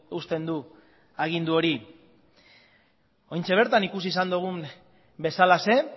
uzten du agindu hori orain bertan ikusi izan dugun bezalaxe